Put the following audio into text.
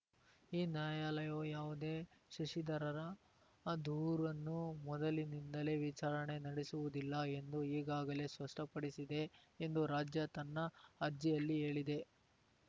ಈ ನ್ಯಾಯಾಲಯವು ಯಾವುದೇ ಶಶಿದರರ ದೂರನ್ನು ಮೊದಲಿನಿಂದಲೇ ವಿಚಾರಣೆ ನಡೆಸುವುದಿಲ್ಲ ಎಂದು ಈಗಾಗಲೇ ಸ್ಪಷ್ಟಪಡಿಸಿದೆ ಎಂದು ರಾಜ್ಯ ತನ್ನ ಅರ್ಜಿಯಲ್ಲಿ ಹೇಳಿದೆ